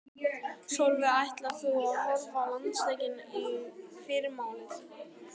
Sólveig: Ætlar þú að horfa á landsleikinn í fyrramálið?